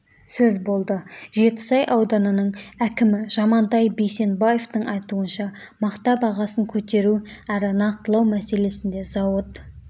сөз болды жетісай ауданының әкімі жамантай бейсенбаевтың айтуынша мақта бағасын көтеру әрі нақтылау мәселесінде зауыт